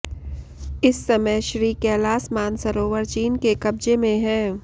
इस समय श्री कैलास मानसरोवर चीन के कब्जे में है